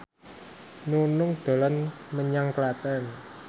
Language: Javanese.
Nunung dolan menyang Klaten